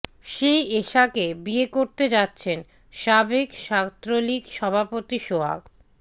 সেই এশাকে বিয়ে করতে যাচ্ছেন সাবেক ছাত্রলীগ সভাপতি সোহাগ